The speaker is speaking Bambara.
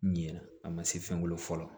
Ɲinɛn a ma se fɛn wolo fɔlɔ